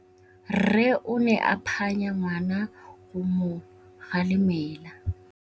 Rre o ne a phanya ngwana go mo galemela.